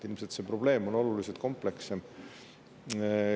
Ilmselt on see probleem oluliselt komplekssem.